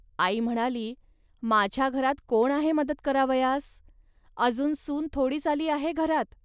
.आई म्हणाली, "माझ्या घरात कोण आहे मदत करावयास. अजून सून थोडीच आली आहे घरात